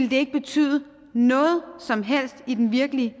ville betyde noget som helst i den virkelige